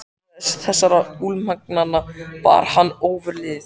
Æðruleysi þessara almúgamanna bar hann ofurliði.